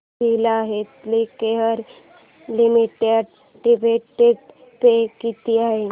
Cadila healthcare limited dividend pay किती आहे